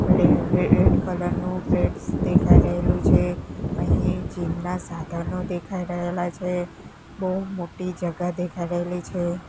મને અવે red colour નુ પ્લેટ્સ દેખાડેલુ છે અહિએ જીમ ના સાધનો દેખાઈ રહેલા છે બૌ મોટી જગા દેખાડેલી છે.